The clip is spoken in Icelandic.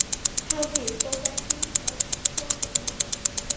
Hafdís, bókaðu hring í golf á mánudaginn.